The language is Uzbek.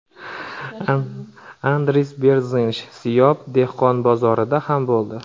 Andris Berzinsh Siyob dehqon bozorida ham bo‘ldi.